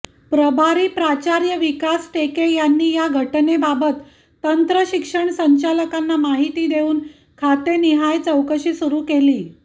प्रभारी प्राचार्य विकास टेके यांनी या घटनेबाबत तंत्रशिक्षण संचालकांना माहिती देऊन खातेनिहाय चौकशी सुरू केली